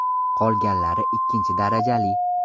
Qolganlari ikkinchi darajali.